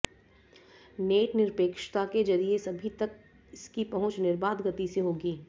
net निरपेक्षता के जरिए सभी तक इसकी पहुंच निर्बाध गति से होगी